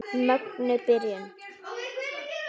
Mögnuð byrjun.